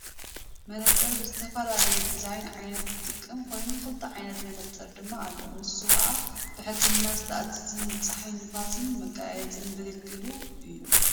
መነፀር ብዝተፈላለዩ ዲዛይን ንዓይኒ ዝጠቅም ኮይኑ ክልተ ዓይነት መነፀር ድማ ኣሎ ንሱ ካአ ብሕክምና ዝእዘዝን ንፅሓይን ንፍስን መጋየፂን ዘገልግሉ እዮም።